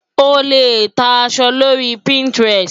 O lè ta aṣọ lórí Pinterest.